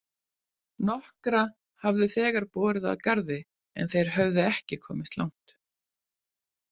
Nokkra hafði þegar borið að garði en þeir höfðu ekki komist langt.